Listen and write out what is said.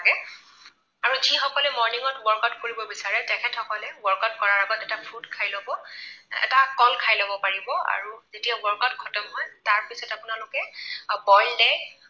আৰু যিসকলে morning ত workout কৰিব বিচাৰে তেখেতসকলে workout কৰাৰ আগত এটা fruit খাই লব। এটা কল খাই লব পাৰিব আৰু যেতিয়া workout খতম হয় তাৰপিছত আপোনালোকে boiled egg